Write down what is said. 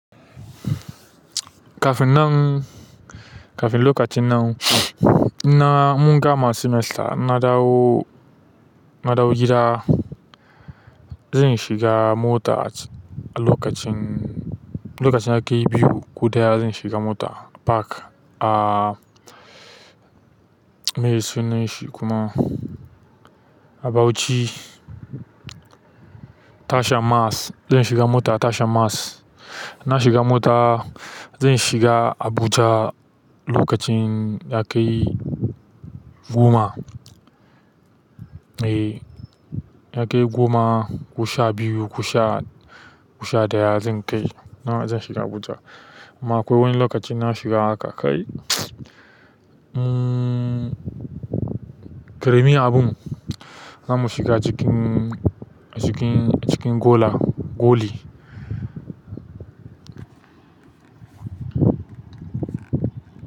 Kafin nan, kafin lokacin nan, in mun gama semester na dawo, na dawo gida. Zan shiga mota a lokacin, lokacin ya kai biyu ko ɗaya zan shiga mota park ah meye sunan shi kuma a Bauchi tashan Mars, zan shiga mota a tashan Mars. In na shiga mota, zan shiga Abuja lokacin ya kai goma. Eh, ya kai goma ko sha biyu ko sha ɗaya zan kai, kuma zan shiga Abuja. Amma akwai wani lokacin in na shiga haka kai hmm ƙaramun abun, zamu shiga, cikin goli.